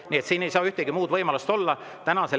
Nii et siin ei saa ühtegi muud võimalust olla.